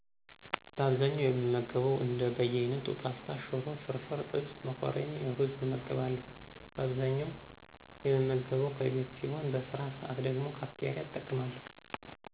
በአብዛኛው የምገበው እንደ በያይነቱ፣ ፖስታ፣ ሽሮ፣ ፍርፍር፣ ጥብስ፣ መኮረኒና እሩዝ እመገባለሁ። በአብዛኛው የምመገበው ከቤት ሲሆን በስራ ሰዓት ደግሞ ካፍቴሪያ እጠቀማለሁ።